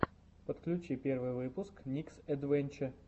подключи первый выпуск никсэдвэнче